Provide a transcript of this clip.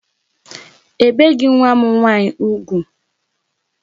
Ebeghi nwa m nwaanyị ugwu.